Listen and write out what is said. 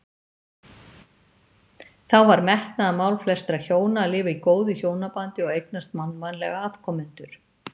Þá var metnaðarmál flestra hjóna að lifa í góðu hjónabandi og eignast mannvænlega afkomendur.